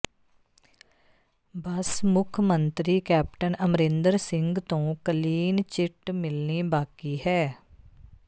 ਬਸ ਮੁੱਖ ਮੰਤਰੀ ਕੈਪਟਨ ਅਮਰਿੰਦਰ ਸਿੰਘ ਤੋਂ ਕਲੀਨ ਚਿੱਟ ਮਿਲਣੀ ਬਾਕੀ ਹੈ